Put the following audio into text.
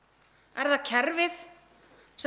er það kerfið sem